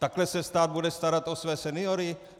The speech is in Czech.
Takhle se stát bude starat o své seniory?